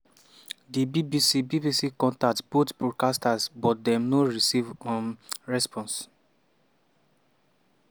di bbc bbc contact both broadcasters but dem no receive um response.